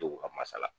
Denw ka masala